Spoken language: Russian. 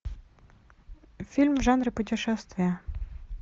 фильм в жанре путешествия